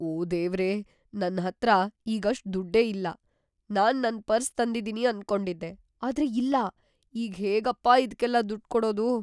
ಓ ದೇವ್ರೇ! ನನ್ಹತ್ರ ಈಗ ಅಷ್ಟ್ ದುಡ್ಡೇ ಇಲ್ಲ‌, ನಾನ್ ನನ್ ಪರ್ಸ್ ತಂದಿದೀನಿ ಅನ್ಕೊಂಡಿದ್ದೆ. ಆದ್ರೆ ಇಲ್ಲ.. ಈಗ್‌ ಹೇಗಪ್ಪ ಇದ್ಕೆಲ್ಲ ದುಡ್ಡ್‌ ಕೊಡೋದು?